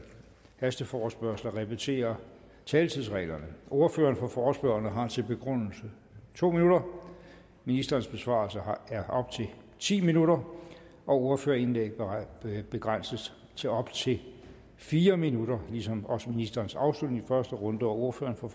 hasteforespørgsler repetere taletidsreglerne ordføreren for forespørgerne har til begrundelse to minutter ministerens besvarelse er op til ti minutter og ordførerindlæg begrænses til op til fire minutter ligesom også ministerens afslutning i første runde og ordføreren for